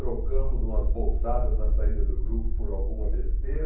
Trocamos umas bolsadas na saída do grupo por alguma besteira.